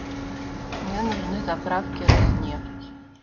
мне нужны заправки роснефть